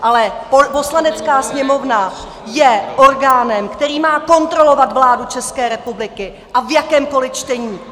Ale Poslanecká sněmovna je orgánem, který má kontrolovat vládu České republiky, a v jakémkoli čtení.